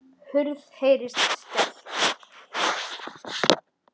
Hurð heyrist skellt.